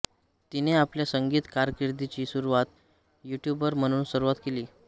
तिने आपल्या संगीत कारकिर्दीची सुरुवात युट्युबर म्हणून सुरुवात केली